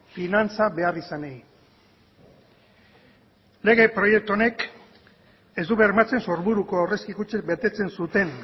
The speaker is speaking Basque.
finantza beharrizanei lege proiektu honek ez du bermatzen sorburuko aurrezki kutxek betetzen zuten